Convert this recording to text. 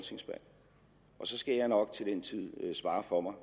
så skal jeg nok til den tid svare for mig